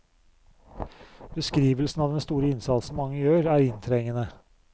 Beskrivelsen av den store innsatsen mange gjør, er inntrengende.